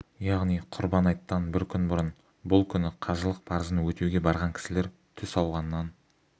яғни құрбан айттан бір күн бұрын бұл күні қажылық парызын өтеуге барған кісілер түс ауғаннан